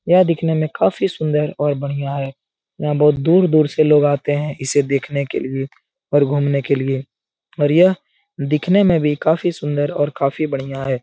यह दिखने में काफ़ी सुन्दर और बढ़िया है यहाँ बहुत दूर-दूर से लोग आते हैं इसे देखने के लिए और घूमने के लिए और यह दिखने में भी काफ़ी सुन्दर और काफ़ी बढ़िया है।